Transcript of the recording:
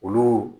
Olu